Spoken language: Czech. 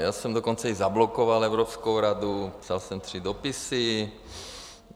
Já jsem dokonce i zablokoval Evropskou radu, psal jsem tři dopisy.